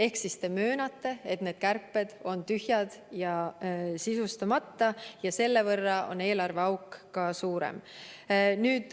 Ehk siis te möönate, et need kärped on tühjad ja sisustamata ja selle võrra on eelarveauk suurem.